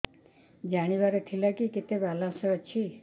ଜାଣିବାର ଥିଲା କି କେତେ ବାଲାନ୍ସ ଅଛି